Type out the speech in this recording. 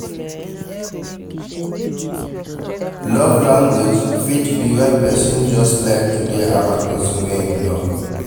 Love language fit be when persin just like to de around persin wey im love